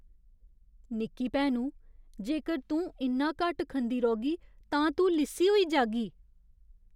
निक्की भैनु, जेकर तूं इन्ना घट्ट खंदी रौह्गी तां तूं लिस्सी होई जाह्गी।